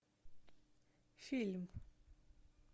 фильм